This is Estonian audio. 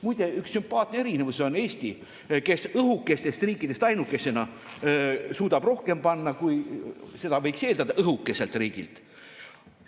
Muide, üks sümpaatne erinevus on Eestil, kes õhukestest riikidest ainukesena suudab rohkem panustada, kui seda võiks õhukeselt riigilt eeldada.